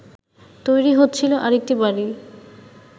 তৈরি হচ্ছিল আরেকটি বাড়ি